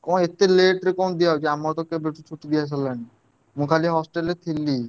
କଣ ଏତେ late କଣ ଦିଅ ହଉଛି ଆମର ତ କେବେ ଠାରୁ ଛୁଟି ଦିଆ ସରିଲାଣି ମୁଁ ଖାଲି hostel ରେ ଥିଲି।